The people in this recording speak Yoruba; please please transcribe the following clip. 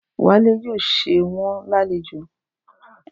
Wálé yóò ṣe wón lálejò